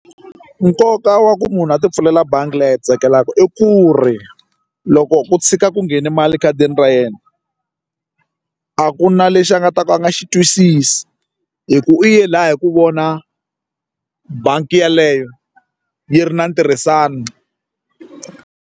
Nkoka wa ku munhu a ti pfulela bangi leyi hi tsakelaka i ku ri loko ku tshuka ku nghene mali ekhadini ra yena a ku na lexi a nga ta ka a nga xi twisisi hi ku u ya laha hi ku vona bangi yeleyo yi ri na ntirhisano.